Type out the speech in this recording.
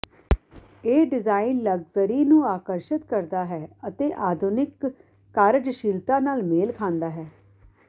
ਇਹ design luxury ਨੂੰ ਆਕਰਸ਼ਿਤ ਕਰਦਾ ਹੈ ਅਤੇ ਆਧੁਨਿਕ ਕਾਰਜਸ਼ੀਲਤਾ ਨਾਲ ਮੇਲ ਖਾਂਦਾ ਹੈ